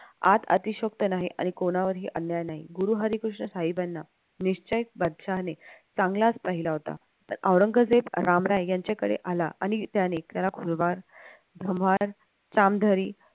आत अतिशयोक्त नाही आणि कोणावरही अन्याय नाही गुरु हरिकृष्ण साहेबांना निश्चय चांगलाच पाहिला होता औरंगजेब रामराय यांच्या कडे आला आणि त्याने त्याला